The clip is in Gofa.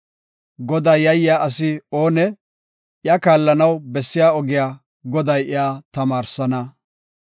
Godaa yayiya asi oonee? I kaallanaw bessiya ogiya Goday iya tamaarsana.